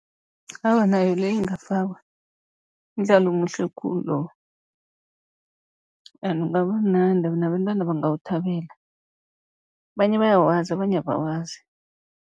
Awa, nayo leyo ingafakwa mdlalo omuhle khulu lowo ene ungaba mnandi nabentwana bangawuthabela, abanye bayawazi abanye abawazi.